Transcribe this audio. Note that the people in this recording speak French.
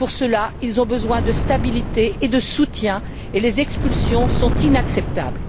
Pour cela, ils ont besoin de stabilité et de soutien et les expulsions sont inacceptables.